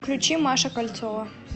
включи маша кольцова